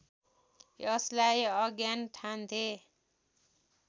यसलाई अज्ञान ठान्थे